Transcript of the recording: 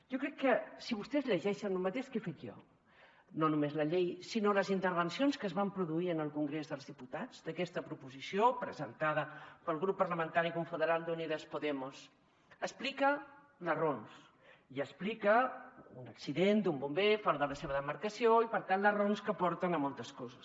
jo crec que si vostès llegeixen el mateix que he fet jo no només la llei sinó les intervencions que es van produir en el congrés dels diputats d’aquesta proposició presentada pel grup parlamentari confederal d’unidas podemos explica les raons i explica un accident d’un bomber fora de la seva demarcació i per tant les raons que porten a moltes coses